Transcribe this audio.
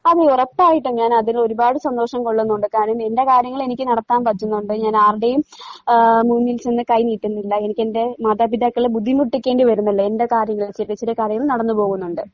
അതെ ഒറപ്പായിട്ടും ഞാനതിനൊരുപാട് സന്തോഷം കൊള്ളുന്നുണ്ട് കാരണം എൻ്റെ കാര്യങ്ങളെനിക്ക് നടത്താൻ പറ്റുന്നൊണ്ട് ഞാനാർടെയും ആഹ് മുന്നിൽച്ചെന്ന് കൈനീട്ടുന്നില്ല എനിക്കെന്റെ മാതാപിതാക്കളെ ബുദ്ധിമുട്ടിക്കേണ്ടി വരുന്നില്ല എൻ്റെ കാര്യങ്ങൾ ചെറിയ ചെറിയ കാര്യങ്ങൾ നടന്നു പോകുന്നൊണ്ട്.